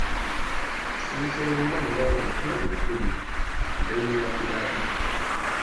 Sun sayo manja mai kyau daga kudu don ya fi daɗi